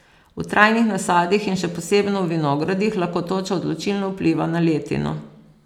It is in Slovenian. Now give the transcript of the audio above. V trajnih nasadih in še posebno v vinogradih lahko toča odločilno vpliva na letino.